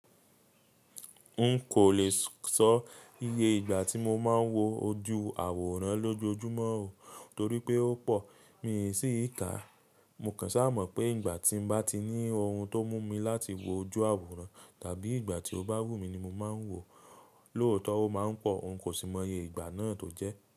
N kò lè sọ iye ìgbà tí mo máa ń wo ojú àwòrán lójoojúmọ́, torí pé ó pọ̀, mi sì i ka. Mo kàn sá mọ̀ pé ìgbà tí mo bá ti ní ohun tó mú mi láti wo ojú àwòrán, tàbí ìgbà tí ó bá wù mí ni mo máa ń wòó. Lóòótọ́, ó máa ń pọ̀, n kò sì mọ iye ìgbà náà tó jẹ́